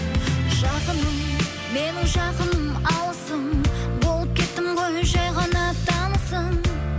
жақыным менің жақыным алысым болып кеттің ғой жай ғана танысым